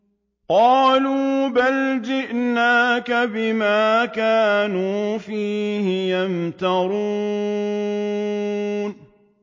قَالُوا بَلْ جِئْنَاكَ بِمَا كَانُوا فِيهِ يَمْتَرُونَ